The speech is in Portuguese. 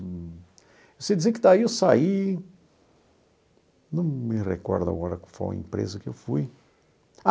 Eu sei dizer que daí eu saí... Não me recordo agora qual foi a empresa que eu fui.